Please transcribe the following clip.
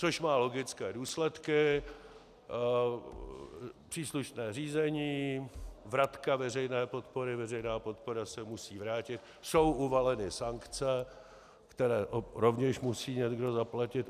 Což má logické důsledky: příslušné řízení, vratka veřejné podpory, veřejná podpora se musí vrátit, jsou uvaleny sankce, které rovněž musí někdo zaplatit.